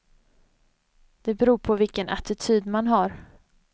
Det beror på vilken attityd man har.